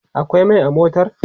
akwai Mai a motar?